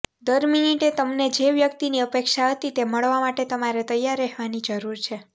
દર મિનિટે તમને જે વ્યક્તિની અપેક્ષા હતી તે મળવા માટે તમારે તૈયાર રહેવાની જરૂર છે